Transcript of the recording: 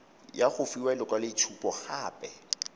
ya go fiwa lekwaloitshupo gape